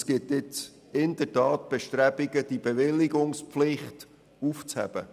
Es gibt Bestrebungen, diese Bewilligungspflicht aufzuheben.